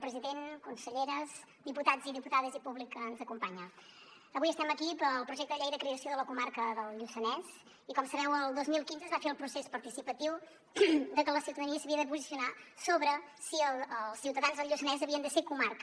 president conselleres diputats i diputades i públic que ens acompanya avui estem aquí pel projecte de llei de creació de la comarca del lluçanès i com sabeu el dos mil quinze es va fer el procés participatiu de que la ciutadania s’havia de posicionar sobre si els ciutadans del lluçanès havien de ser comarca